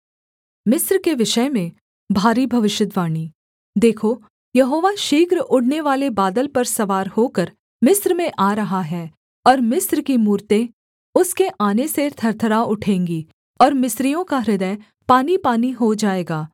मिस्र के विषय में भारी भविष्यद्वाणी देखो यहोवा शीघ्र उड़नेवाले बादल पर सवार होकर मिस्र में आ रहा है और मिस्र की मूरतें उसके आने से थरथरा उठेंगी और मिस्रियों का हृदय पानीपानी हो जाएगा